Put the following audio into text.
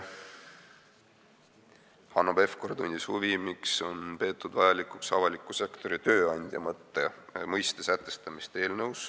Hanno Pevkur tundis huvi, miks on peetud vajalikuks sätestada eelnõus avaliku sektori tööandja mõiste.